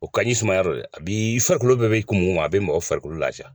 O ka di sumaya dɛ a bi i farikolo bɛɛ bɛ kumu i ma a bɛ mɔgɔ farikolo laafiya.